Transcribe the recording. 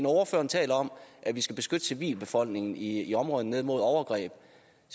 ordføreren taler om at vi skal beskytte civilbefolkningen i områderne dernede mod overgreb